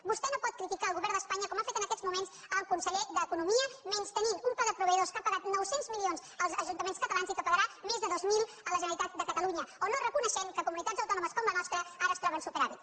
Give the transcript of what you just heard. vostè no pot criticar el govern d’espanya com ha fet en aquests moments el conseller d’economia menystenint un pla de proveïdors que ha pagat nou cents milions als ajuntaments catalans i que en pagarà més de dos mil a la generalitat de catalunya o no reconeixent que comunitats autònomes com la nostra ara es troben amb superàvit